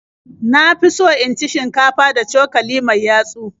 Na fi so in ci shinkafa da cokali mai yatsu.